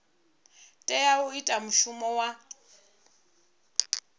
tea u ita mushumo wa